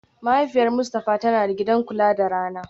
Mahaifiyar Mustafa tana da gidan kula da rana